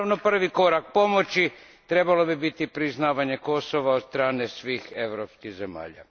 Naravno, prvi korak pomoći trebalo bi biti priznavanje Kosova od strane svih europskih zemalja.